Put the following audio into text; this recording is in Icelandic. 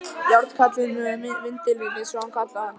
Járnkallinn með vindilinn, eins og hann kallaði hann.